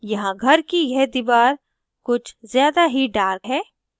यहाँ घर की यह दीवार कुछ ज़्यादा ही dark है